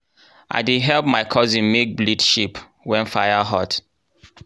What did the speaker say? i dey help my cousin make blade shape wen fire hot.